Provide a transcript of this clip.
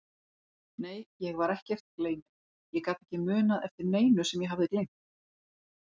Nei, ég var ekkert gleyminn, ég gat ekki munað eftir neinu sem ég hafði gleymt.